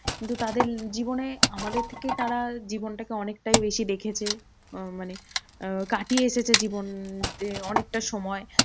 কিন্ত তাদের জীবনে আমাদের থেকে তারা জীবনটাকে অনেকটাই বেশি দেখেছে। উম মানে উম কাটিয়ে এসেছে জীবন যে অনেকটা সময়।